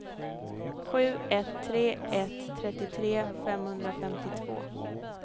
sju ett tre ett trettiotre femhundrafemtiotvå